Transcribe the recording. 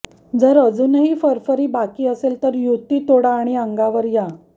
जर अजूनही फरफरी बाकी असेल तर युती तोडा आणि अंगावर या